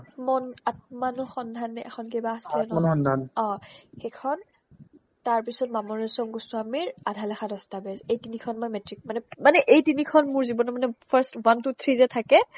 মন আত্মানো সন্ধানে এখন কিবা আছিলে নহয় অ সেইখন তাৰপিছত মামনি ৰয়্চম গোস্বামীৰ আধালেখা দস্তাবেজ এই তিনিখন মই মেট্ৰিক মানে মানে এই তিনিখন মোৰ জীৱনৰ মানে first one two three যে থাকে